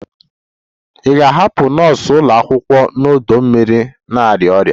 Ị ga-ahụ nọọsụ ụlọ akwụkwọ n'ọdọ mmiri na-arịa ọrịa